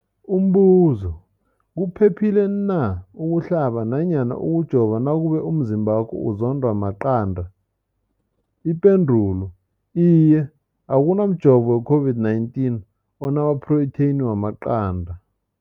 Umbuzo, kuphephile na ukuhlaba namkha ukujova nakube umzimbakho uzondwa maqanda. Ipendulo, iye. Akuna mjovo weCOVID-19 ona maphrotheyini wamaqanda.